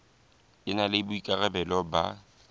e na le boikarabelo ba